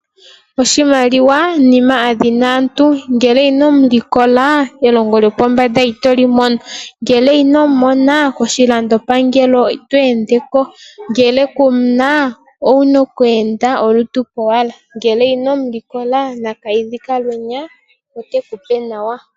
Oshimaliwa nina adhina aantu ngele kuna ino mu likola elongo yopombanda itolimono . Ngele ino mumona Koshilandopangelo ito endeko .ngele kumuna owuna oku enda olutu kowala . Ngele ino mulilkola nakiidhi ka halwenya otekupe nawa.